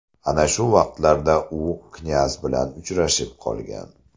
Ana shu vaqtlarda u knyaz bilan uchrashib qolgan.